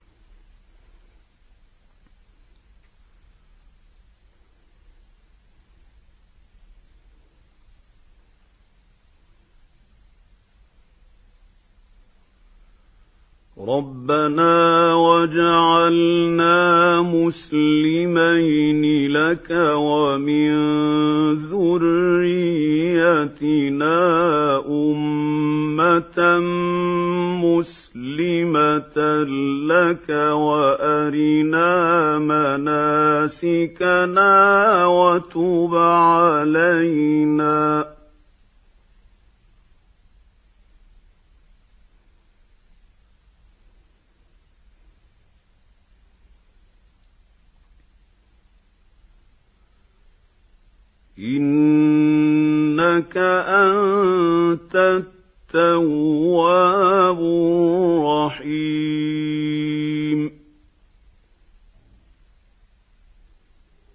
رَبَّنَا وَاجْعَلْنَا مُسْلِمَيْنِ لَكَ وَمِن ذُرِّيَّتِنَا أُمَّةً مُّسْلِمَةً لَّكَ وَأَرِنَا مَنَاسِكَنَا وَتُبْ عَلَيْنَا ۖ إِنَّكَ أَنتَ التَّوَّابُ الرَّحِيمُ